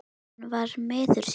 Hann var miður sín.